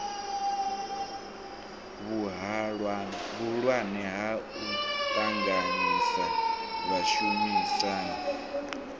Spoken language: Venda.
vhuhulwane ha u ṱanganyisa vhashumisani